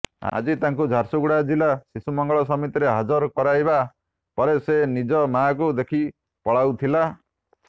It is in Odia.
ଆଜି ତାକୁ ଝାରସୁଗୁଡା ଜିଲ୍ଲା ଶିଶୁମଙ୍ଗଳ ସମିତିରେ ହାଜର କରାଇବା ପରେ ସେ ନିଜ ମାକୁ ଦେଖି ପଳାଉଥିଲା